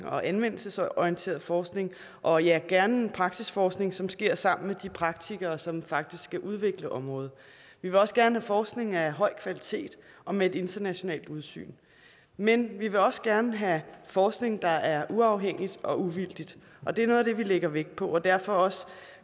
og anvendelsesorienteret forskning og ja gerne en praksisforskning som sker sammen med de praktikere som faktisk skal udvikle området vi vil også gerne have forskning af høj kvalitet og med et internationalt udsyn men vi vil også gerne have forskning der er uafhængig og uvildig og det er noget af det vi lægger vægt på og derfor også